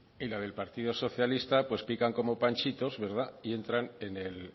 y la del partido socialista pues pican como panchitos y